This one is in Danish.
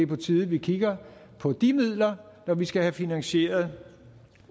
på tide at vi kigger på de midler når vi skal finansiere